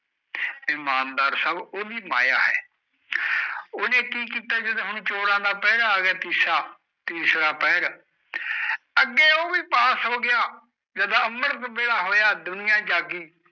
ਫਰ ਮਾਨ ਸਾਬ ਉਦੀ ਮਾਇਆ ਉਨੇ ਕਿ ਕੀਤਾ ਜਦੋ ਚੋਰ ਦਾ ਪੈਰਾਂ ਅਗਗਯਾ ਤੀਸਰਾ ਪੈਰਾਂ ਅਗੇ ਓ ਬੀ ਪਾਸ ਹੋਗੀ ਜਦ ਅੰਮ੍ਰਿਤ ਪੈਰਾਂ ਹੋਇਆ ਦੁਨੀਆਂ ਜਾਏਗੀ